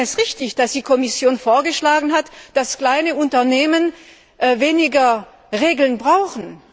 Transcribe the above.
Wir fanden es richtig, dass die Kommission vorgeschlagen hat, dass kleine Unternehmen weniger Regeln brauchen.